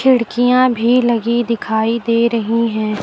खिड़कियां भी लगी दिखाई दे रही है।